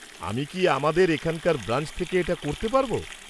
আমি কি আমাদের এখানকার ব্রাঞ্চ থেকে এটা করতে পারব?